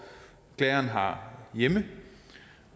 klageren har hjemme